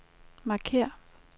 markér